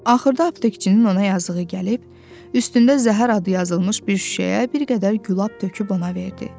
Axırda aptekçinin ona yazığı gəlib, üstündə zəhər adı yazılmış bir şüşəyə bir qədər gülab töküb ona verdi.